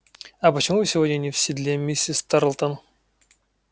а почему вы сегодня не в седле миссис тарлтон